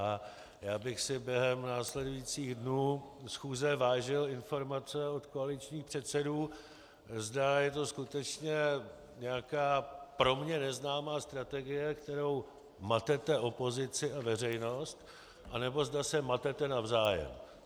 A já bych si během následujících dnů schůze vážil informace od koaličních předsedů, zda je to skutečně nějaká pro mě neznámá strategie, kterou matete opozici a veřejnost, anebo zda se matete navzájem.